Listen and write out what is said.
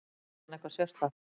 Heitir hann eitthvað sérstakt?